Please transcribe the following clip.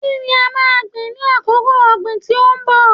Kí ni a máa gbìn ní àkókò ọ̀gìn tí ó ń bọ̀?